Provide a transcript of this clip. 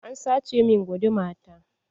An sace min guduma ta.